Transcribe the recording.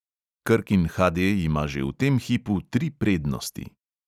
Krkin HD ima že v tem hipu tri prednosti.